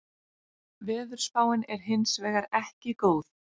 Veðurspáin er hins vegar ekki góð